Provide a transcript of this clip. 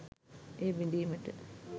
එය බිඳීමට